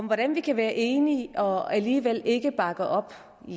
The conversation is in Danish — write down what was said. hvordan vi kan være enige og alligevel ikke bakke op vil